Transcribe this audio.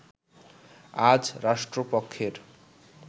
আজ রাষ্ট্রপক্ষের